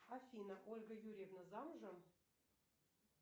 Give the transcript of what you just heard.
афина ольга юрьевна замужем